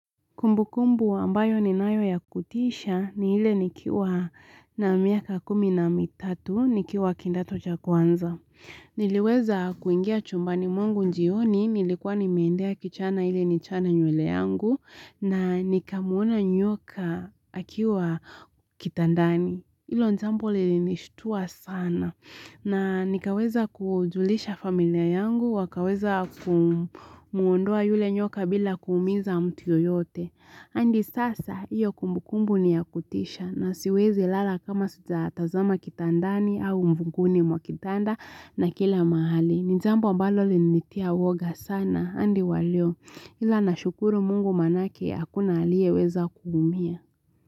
Kumbukumbu ambayo ninayo ya kutisha ni ile nikiwa na miaka kumi na mitatu nikiwa kidato cha kwanza. Niliweza kuingia chumbani mwangu njioni, nilikuwa nimeendea kichana ili nichane nywele yangu na nikamuona nyoka akiwa kitandani. Hilo jambo lininishtua sana na nikaweza kujulisha familia yangu wakaweza kumuondoa yule nyoka bila kuumiza mtu yoyote hadi sasa iyo kumbukumbu ni ya kutisha na siwezi lala kama sija tazama kitandani au mvunguni mwa kitanda na kila mahali ni jambo ambalo linitia woga sana hadi wa leo ila nashukuru mungu manake hakuna aliye weza kuumia.